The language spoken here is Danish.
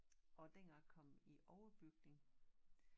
Og dengang jeg kom i overbygning